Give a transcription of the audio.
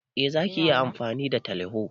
Eh Zaki iya amfani da teleho.